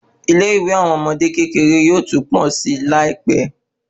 Ilé ìwé àwọn ọmọdé kékeré yóò tún pọ si Lai pẹ